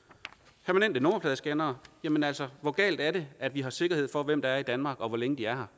er nummerpladescannere jamen altså hvor galt er det at vi har sikkerhed for hvem der er i danmark og hvor længe de er